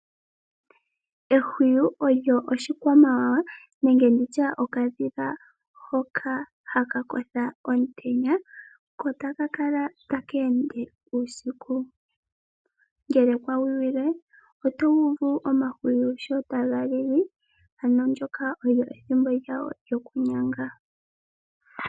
Ehwiyu olyo oshikwamawawa nenge nditye okadhila hoka ha ka kotha omutenya, ko ta ka ende uusiku. Ngele kawiwile, oto uvu omahwiyu sho ta ga lili, ano ndyoka olyo ethimbo ha ga nyanga.